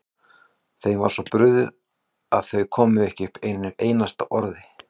Þeim var svo brugðið að þau komu ekki upp einu einasta orði.